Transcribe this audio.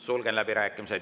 Sulgen läbirääkimised.